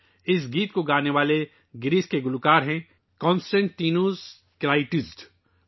یہ گانا یونان سے تعلق رکھنے والے گلوکار ' کونسٹنٹائنس کلیٹزس ' نے گایا ہے